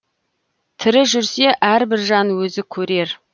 тірі жүрсе әрбір жан өзі көрер